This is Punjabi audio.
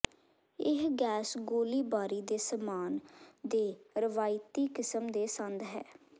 ਇਹ ਗੈਸ ਗੋਲੀਬਾਰੀ ਦੇ ਸਾਮਾਨ ਦੇ ਰਵਾਇਤੀ ਕਿਸਮ ਦੇ ਸੰਦ ਹੈ